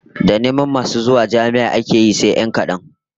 Da neman masu zuwa jami'a ake yi sai 'yan kadan